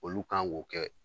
Olu kan k'o kɛ